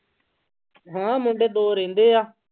ਹਾਂ ਮੁੰਡੇ ਦੋ ਰਹਿੰਦੇ ਆ।